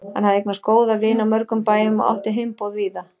Hann hafði eignast góða vini á mörgum bæjum og átti heimboð víða.